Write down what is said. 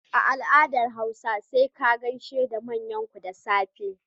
A al'adar hausa sai ka gaisa da manyanku da safe.